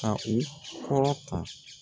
Ka u kɔrɔ ta